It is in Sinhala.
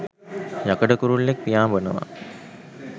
යකඩ කුරුල්ලෙක් පියාඹනවා.